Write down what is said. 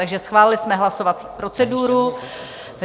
Takže schválili jsme hlasovací proceduru.